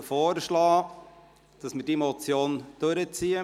Ich schlage jetzt vor, dass wird diese Motion zu Ende beraten.